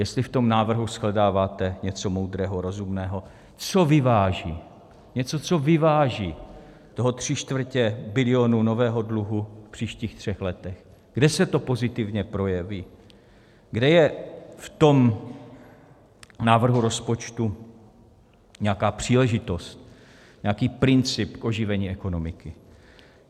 Jestli v tom návrhu shledáváte něco moudrého, rozumného, co vyváží, něco, co vyváží toho tři čtvrtě bilionu nového dluhu v příštích třech letech, kde se to pozitivně projeví, kde je v tom návrhu rozpočtu nějaká příležitost, nějaký princip oživení ekonomiky.